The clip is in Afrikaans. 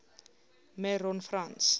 me ron frans